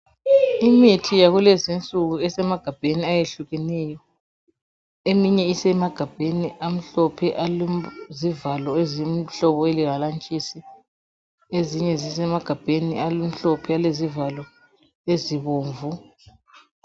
Imithi yakulezinsuku esemagabhani ayehlukeneyo eminye isemagabheni amhlophe alezivalo ezingamahalantshisi. Ezinye zisemagabheni amhlophe alezivalo ezibomvu.